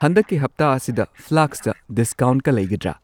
ꯍꯟꯗꯛꯀꯤ ꯍꯞꯇꯥ ꯑꯁꯤꯗ ꯐ꯭ꯂꯥꯁꯛꯇ ꯗꯤꯁꯀꯥꯎꯟꯠꯀ ꯂꯩꯒꯗ꯭ꯔꯥ?